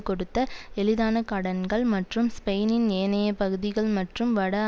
கொடுத்த எளிதான கடன்கள் மற்றும் ஸ்பெயினின் ஏனைய பகுதிகள் மற்றும் வட